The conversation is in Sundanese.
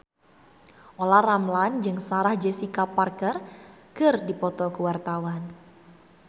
Olla Ramlan jeung Sarah Jessica Parker keur dipoto ku wartawan